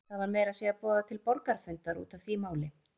Það var meira að segja boðað til borgarafundar út af því máli.